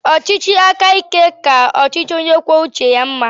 Ọchịchị aka ike ka ọchịchị onye kwuo uche ya mma.